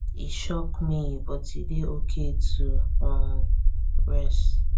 e shock me but e dey ok to um rest